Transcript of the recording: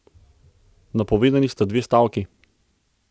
Napovedani sta dve stavki.